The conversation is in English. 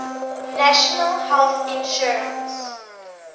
national health insurance